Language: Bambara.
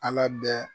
Ala bɛ